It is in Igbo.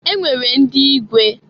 E nwere ndị igwe.